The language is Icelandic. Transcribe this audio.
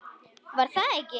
Var það ekki!